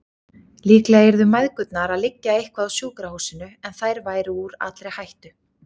Líklega yrðu mæðgurnar að liggja eitthvað á sjúkrahúsinu, en þær væru úr allri hættu.